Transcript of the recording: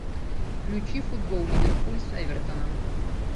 включи футбол ливерпуль с эвертоном